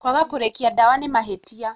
Kwaga kũrĩkia ndawa nĩ mahĩtia